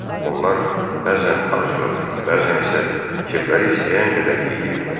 Onlar bəzən ac qalır, bəzən isə kefləri istəyən qədər yeyirdilər.